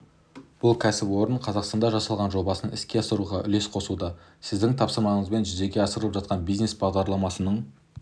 бұл кәсіпорным қазақстанда жасалған жобасын іске асыруға үлес қосуда сіздің тапсырмаңызбен жүзеге асырылып жатқан бизнес бағдарламасының